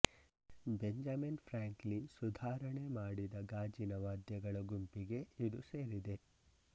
Benjamin Franklin ಸುಧಾರಣೆ ಮಾಡಿದ ಗಾಜಿನ ವಾದ್ಯಗಳ ಗುಂಪಿಗೆ ಇದು ಸೇರಿದೆ